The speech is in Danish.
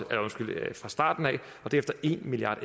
fra starten af og derefter en milliard